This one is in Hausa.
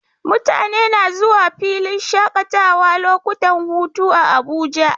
Mutane na zuwa filin shaƙatawa lokutan hutu a Abuja